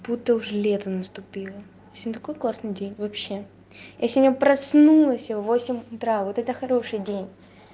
будто уже лето наступило сегодня такой классный день вообще я сегодня проснулась в восемь утра вот это хороший день